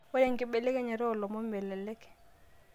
ore enkibelekenyata o lomon melelek